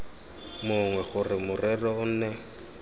mongwe gore morero o nne